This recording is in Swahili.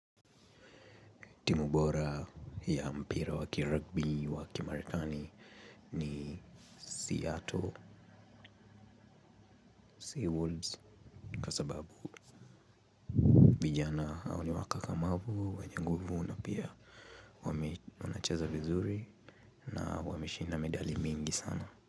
Timu bora ya mpira wa ki rugby wa kimarekani ni Seattle Seawolves. Kwa sababu vijana hao ni wakakamavu, wenye nguvu na pia wanacheza vizuri na wameshida medali mingi sana.